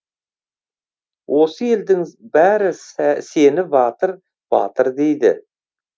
осы елдің бәрі сені батыр батыр дейді